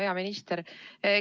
Hea minister!